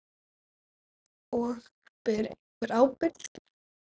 Og: Ber einhver ábyrgð?